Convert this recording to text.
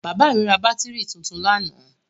Bàbá mi ra bátírí tuntun lánàá.